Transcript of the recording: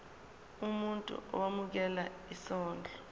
umuntu owemukela isondlo